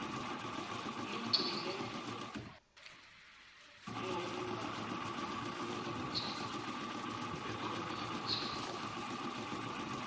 lugcinwe ngobunyoninso bekhompuyutha